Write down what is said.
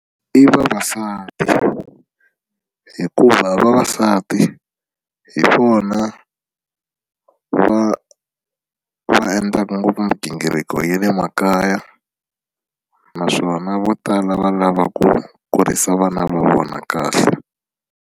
I vavasati hikuva vavasati hi vona va va endlaka ngopfu migingiriko ya le makaya naswona vo tala va lava ku kurisa vana va vona kahle.